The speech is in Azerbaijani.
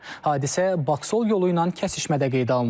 Hadisə Baksol yolu ilə kəsişmədə qeydə alınıb.